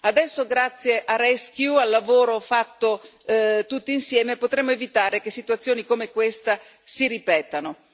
Adesso, grazie a Rescue, al lavoro fatto tutti insieme, potremo evitare che situazioni come questa si ripetano.